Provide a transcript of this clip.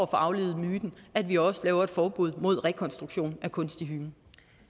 aflivet myten at vi også laver et forbud mod rekonstruktion af kunstig hymen